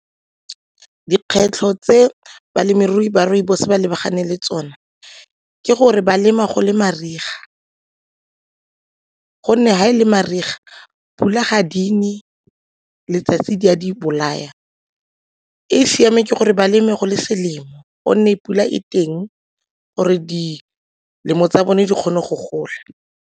Dikgwetlho tse balemirui ba rooibos ba lebaganeng le tsone ke gore balema go le mariga gonne ga e le mariga, pula ga e ne, letsatsi le a di bolaya. E e siameng ke gore ba leme go le selemo gonne pula e teng gore di tsa bone di kgone go gola.